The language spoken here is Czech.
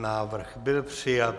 Návrh byl přijat.